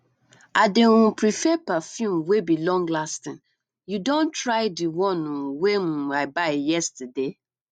i dey um prefer perfume wey be longlasting you don try di one um wey um i buy yesterday